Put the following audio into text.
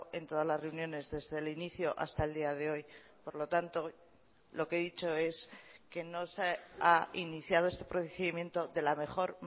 en todas las reuniones desde el inicio hasta el día de hoy por lo tanto lo que he dicho es que no se ha iniciado este procedimiento de la mejor